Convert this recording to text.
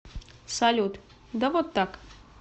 салют да вот так